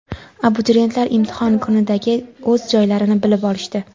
abituriyentlar imtihon kunidagi o‘z joylarini bilib olishdi.